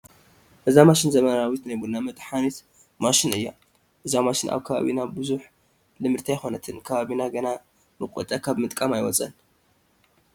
እዛ ማሽን ዘመናዊት ናይ ቡና መጥሓኒት ማሽን እያ፡፡ እዛ ማሽን ኣብ ከባቢና ብዙሕ ልምድቲ ኣይኮነትን፡፡ ከባቢና ገና መቖጫ ካብ ምጥቃም ኣይወፀን፡፡